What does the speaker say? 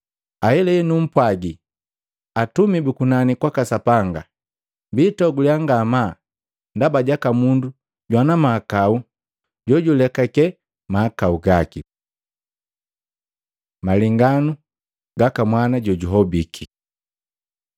Ahelahela numpwagi, atumi bu kunani kwaka Sapanga biitoguliya ngamaa ndaba jaka mundu jumu jwana mahakau jojulekake mahakau gaki.” Malenganu gaka mwana jojuhobiki